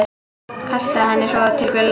Kastaði henni svo til Gulla.